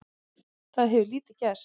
Það hefur lítið gerst.